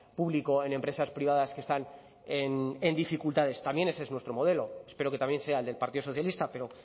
público en empresas privadas que están en dificultades también ese es nuestro modelo espero que también sea el del partido socialista pero